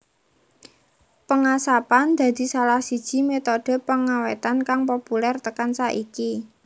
Pengasapan dadi salah siji metode pengawétan kang populer tekan saiki